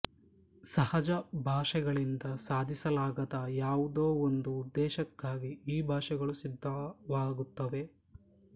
ಸಹಜ ಭಾಷೆಗಳಿಂದ ಸಾಧಿಸಲಾಗದ ಯಾವುದೋ ಒಂದು ಉದ್ದೇಶಕ್ಕಾಗಿ ಈ ಭಾಷೆಗಳು ಸಿದ್ಧವಾಗುತ್ತವೆ